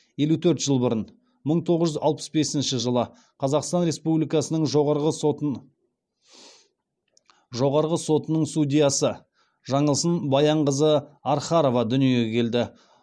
елу төрт жыл бұрын қазақстан республикасының жоғарғы сотының судьясы жаңылсын баянқызы архарова дүниеге келді